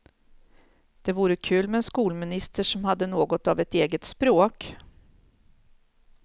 Det vore kul med en skolminister som hade något av ett eget språk.